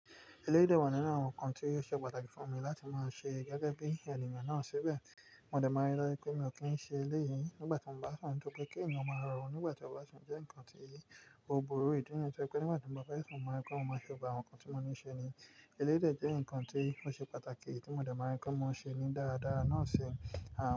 Eléyi wà nínú àwọn ǹkan tí ó ṣe pàtàkì fún mi láti máa ṣe gẹ́gẹ́ bí ènìyàn náà ṣibẹ̀. Mọ̀dẹ̀ ma n rí dájú pé mi ò kí ń ṣe eléyìí nígbà tí mo bá sun, tọ́ pé kí ènìyàn máa rọrùn nígbà tí ó bá sọnù jẹ́ ǹkan tí ó burú. Ìdí nìyẹn tó jẹ́ pé nígbà tí bàbá fẹ́ sun maa ri pé mo máa ṣe gbogbo àwọn ǹkan tí mo ní í ṣe ni, eléyi dè jẹ́ ǹkan tí ó ṣe pàtàkì tí mọ̀dẹ ma rí pé mo ń ṣe ní dáadáa, náà sì ń.